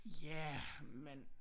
Ja men